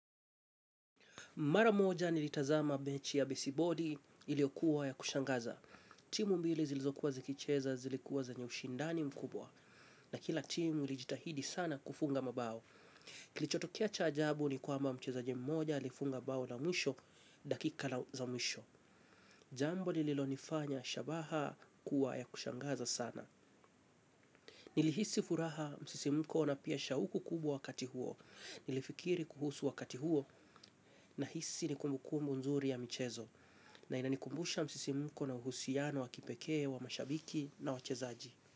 Mara moja nilitazama mechi ya baseboli iliyokuwa ya kushangaza. Timu mbili zilizokuwa zikicheza zilikuwa zenye ushindani mkubwa na kila timu ilijitahidi sana kufunga mabao. Kilichotokea cha ajabu ni kwamba mcheza jimmoja ilifunga bao la mwisho dakika za mwisho. Jambo lililonifanya shabaha kuwa ya kushangaza sana. Nilihisi furaha msisi mkona pia shauku kubwa wakati huo. Nilifikiri kuhusu wakati huo na hisi nikumbuku mbunzuri ya michezo. Na inanikumbusha msisi mko na uhusiano wa kipekee, wa mashabiki na wa chezaji.